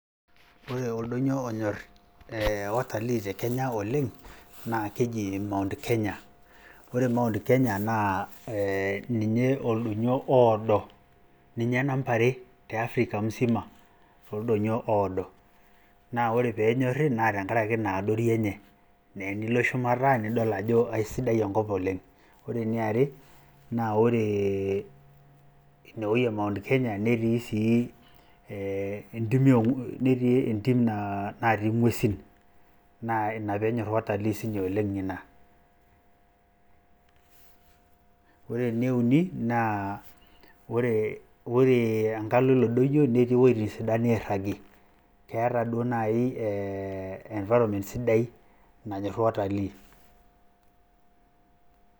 Ore oldoinyio onyor watalii te Kenya oleng naa keji mount Kenya. Ore mount Kenya ee ninye oldoinyio oodo, ninye namba are te Afrika musima too oldoinyio oodo. Naa ore pee enyorri naa tenkaraki ina adori enye. Naa tenilo shumata nidol ajo keisidai enkop oleng. Ore eniare naa ore ine wueji e mount Kenya netii sii ee ntimi netii entim natii ng`uesin. Naa ina pee enyorr watalii sii oleng ina. Ore ene uni naa ore , ore enkalo ilo doinyio netii wuejitin sidan nairragi, keeta duoo naaji environment sidai nanyorr watalii.